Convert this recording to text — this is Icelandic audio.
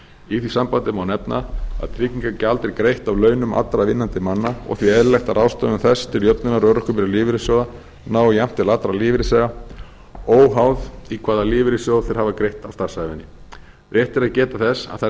í því sambandi má nefna að tryggingagjald er greitt af launum allra vinnandi manna og því eðlilegt að ráðstöfun þess til jöfnunar örorkubyrði lífeyrissjóða nái jafnt til allra lífeyrisþega óháð í hvaða lífeyrissjóð þeir hafa greitt á starfsævinni rétt er að geta þess að